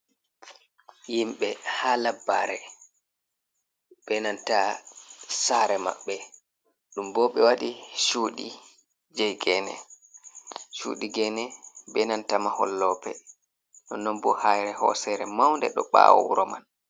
Himɓe ha labbare, benanta saare maɓɓe. Ɗum bo ɓe waɗi cuuɗi je geene. Cuudi geene benanta mahol loope. Nonnon bo haire hoosere maunde ɗo ɓawo wuro man.